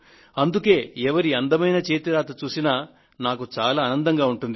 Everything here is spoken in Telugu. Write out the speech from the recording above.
అందుకే ఎవరి అందమైన చేతి రాతను చూసినా నాకు చాలా ఆనందంగా ఉంటుంది